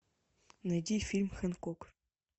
найди фильм хэнкок